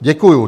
Děkuju.